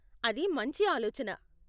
అది మంచి ఆలోచన.